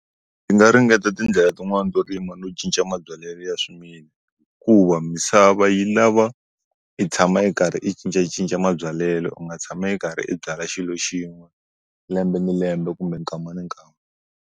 Ndzi nga ringeta tindlela tin'wani to rima no cinca mabyalelo ya swimila ku va misava yi lava i tshama i karhi i cincacinca mabyalelo u nga tshama i karhi i byala xilo xin'we lembe ni lembe kumbe nkama ni nkama.